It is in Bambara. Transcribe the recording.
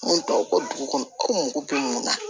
Mun tɔw ka dugu kɔnɔ ko mɔgɔ bɛ mun na